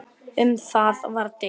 Um það var deilt.